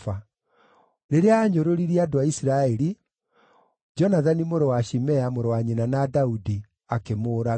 Rĩrĩa aanyũrũririe andũ a Isiraeli, Jonathani mũrũ wa Shimea, mũrũ wa nyina na Daudi, akĩmũũraga.